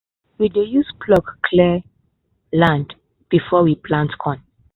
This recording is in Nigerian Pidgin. we dey use plough clear land before we plant corn.